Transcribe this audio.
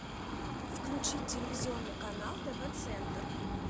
включи телевизионный канал тв центр